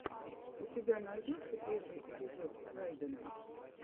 у тебя найдется первый эпизод райдена